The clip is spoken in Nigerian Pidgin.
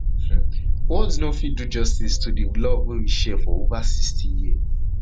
um words no no fit do justice to di love wey we share for ova sixty years